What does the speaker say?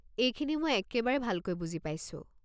এইখিনি মই একেবাৰে ভালকৈ বুজি পাইছো।